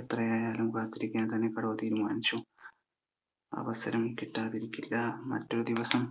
എത്ര ആയാലും കാത്തിരിക്കാൻ തന്നെ കടുവ തീരുമാനിച്ചു അവസരം കിട്ടാതിരിക്കില്ല മറ്റൊരുദിവസം